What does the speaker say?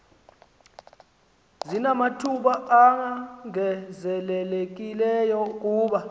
sinamathuba ongezelelekileyo kuba